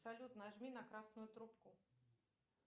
салют нажми на красную трубку